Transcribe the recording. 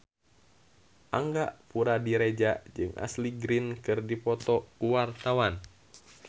Angga Puradiredja jeung Ashley Greene keur dipoto ku wartawan